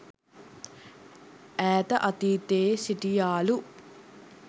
ඈත අතීතයේ සිටියාලු.